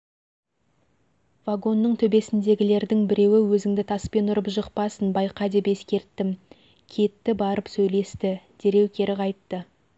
вагонның төбесіндегілердің біреуі өзіңді таспен ұрып жықпасын байқа деп ескерттім кетті барып сөйлесті дереу кері қайтты